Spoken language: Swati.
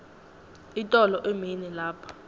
itolo emini lapha